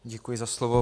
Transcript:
Děkuji za slovo.